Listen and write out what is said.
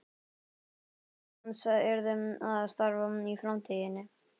Og í anda hans yrði að starfa í framtíðinni.